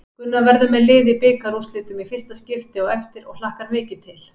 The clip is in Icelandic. Gunnar verður með lið í bikarúrslitum í fyrsta skipti á eftir og hlakkar mikið til.